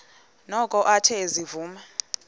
noko athe ezivuma